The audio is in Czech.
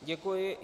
Děkuji.